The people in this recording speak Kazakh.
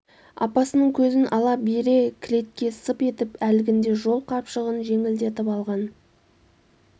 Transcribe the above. апасының көзін ала бере кілетке сып етіп әлгінде жол қапшығын жеңілдетіп алған